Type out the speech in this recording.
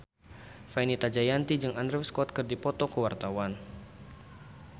Fenita Jayanti jeung Andrew Scott keur dipoto ku wartawan